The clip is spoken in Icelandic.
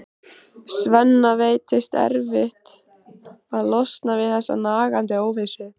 Svenna veitist erfitt að losna við þessa nagandi óvissu.